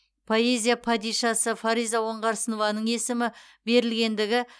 поэзия падишасы фариза оңғарсынованың есімі берілгендігі